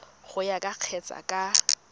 go ya ka kgetse ka